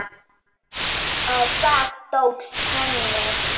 Og það tókst henni.